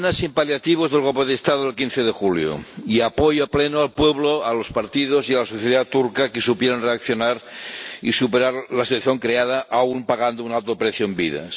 Condena sin paliativos del golpe de Estado del 15 de julio y apoyo pleno al pueblo, a los partidos y a la sociedad turcos, que supieron reaccionar y superar la situación creada, aun pagando un alto precio en vidas.